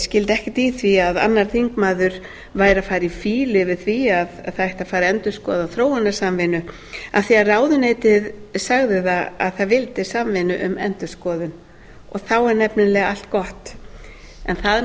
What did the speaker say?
skildi ekkert í því að annar þingmaður væri að fara í fýlu yfir því að það ætti að fara að endurskoða þróunarsamvinnu af því að ráðuneytið segði að það vildi samvinnu um endurskoðun og þá er nefnilega allt gott það er nú